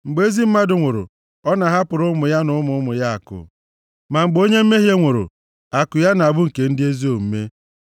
Mgbe ezi mmadụ nwụrụ, ọ na-ahapụrụ ụmụ ya na ụmụ ụmụ ya akụ, ma mgbe onye mmehie nwụrụ, akụ ya na-abụ nke ndị ezi omume.